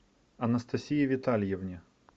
анастасии витальевне